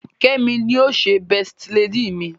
Kemi ní yíò ṣe besti lady mí.